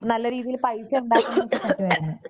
നല്ല രീതിയില് പൈസ ഉണ്ടാക്കാൻ പറ്റുമായിരുന്നു.